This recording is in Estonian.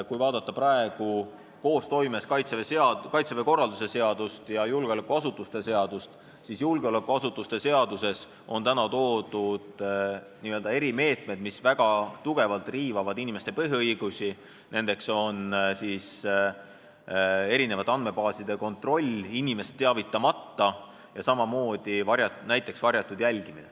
Kui vaadata Kaitseväe korralduse seadust ja julgeolekuasutuste seadust koostoimes, siis on näha, et julgeolekuasutuste seaduses on toodud n-ö erimeetmed, mis väga tugevalt riivavad inimeste põhiõigusi, nendeks on andmete kontroll eri andmebaasides inimest teavitamata ja samamoodi näiteks varjatult jälgimine.